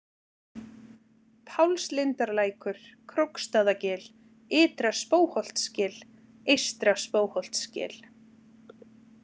Pálslindarlækur, Króksstaðagil, Ytra-Spóholtsgil, Eystra-Spóholtsgil